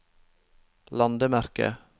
landemerke